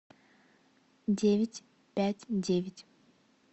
девять пять девять